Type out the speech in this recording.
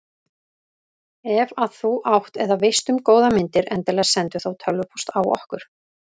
Ef að þú átt eða veist um góðar myndir endilega sendu þá tölvupóst á okkur.